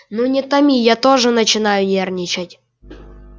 ну не томи я тоже начинаю нервничать